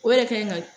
O yɛrɛ ka ɲi ka